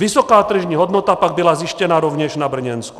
Vysoká tržní hodnota pak byla zjištěna rovněž na Brněnsku.